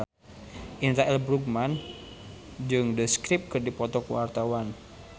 Indra L. Bruggman jeung The Script keur dipoto ku wartawan